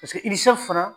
fana